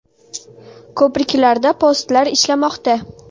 Ko‘priklarda postlar ishlamoqda.